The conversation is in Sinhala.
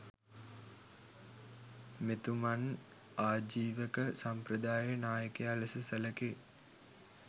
මෙතුමන් ආජීවක සම්ප්‍රදායේ නායකයා ලෙස සැලකේ.